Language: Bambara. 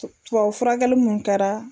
Tubabu furakɛli mun kɛra